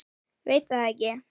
Veit það ekki.